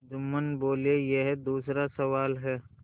जुम्मन बोलेयह दूसरा सवाल है